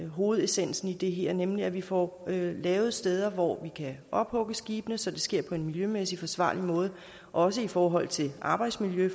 hovedessensen i det her nemlig at vi får lavet steder hvor vi kan ophugge skibene så det sker på en miljømæssig forsvarlig måde også i forhold til arbejdsmiljø